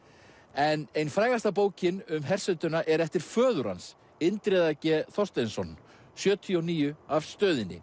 en ein frægasta bókin um hersetuna er eftir föður hans Indriða g Þorsteinsson sjötíu og níu af stöðinni